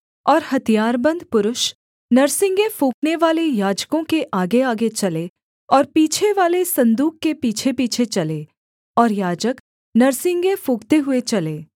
और हथियारबन्द पुरुष नरसिंगे फूँकनेवाले याजकों के आगेआगे चले और पीछेवाले सन्दूक के पीछेपीछे चले और याजक नरसिंगे फूँकते हुए चले